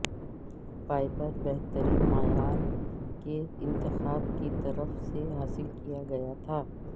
Piper بہترین معیار کے انتخاب کی طرف سے حاصل کیا گیا تھا